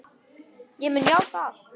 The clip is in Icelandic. Ég mun játa allt.